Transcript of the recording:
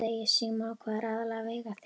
Símon: Og hvað er aðallega að vega þyngst?